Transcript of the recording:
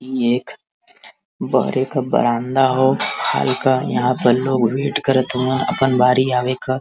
ये एक बहरे क बरामदा ह हल्का। यहाँ पर लोग वेट करत हऊअन अपान बारी आवे क।